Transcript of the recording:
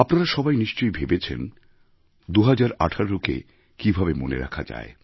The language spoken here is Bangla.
আপনারা সবাই নিশ্চয়ই ভেবেছেন ২০১৮কে কিভাবে মনে রাখা যায়